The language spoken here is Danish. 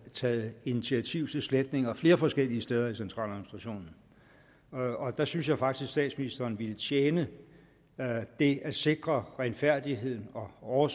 taget initiativ til sletninger flere forskellige steder i centraladministrationen og der synes jeg faktisk at statsministeren ville tjene det at sikre renfærdigheden og